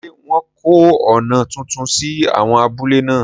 Ṣé wọ́n kọ́ ọ̀nà tuntun sí áwọn abúlé náà?